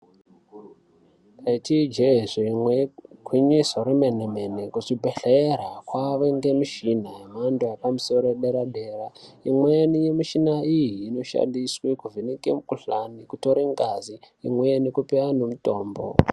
Ndaiti ijehee zvimwe igwinyiso remene mene kuzvibhedhlera kwave ngemishini yemhando yepamusoro dera dera, imweni mishina iyi inoshandiswa kuvheneke mikhuhlani, kutore ngazi imweni kupe anhu mutombo.